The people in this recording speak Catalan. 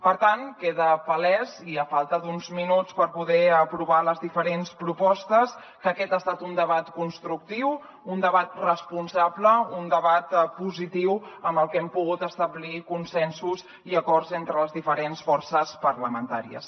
per tant queda palès i a falta d’uns minuts per poder aprovar les diferents propostes que aquest ha estat un debat constructiu un debat responsable un debat positiu en el que hem pogut establir consensos i acords entre les diferents forces parlamentàries